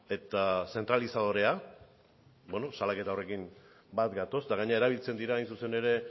eta zentralizadorea bueno salaketa horrekin bat gatoz eta gainera erabiltzen dira hain zuzen ere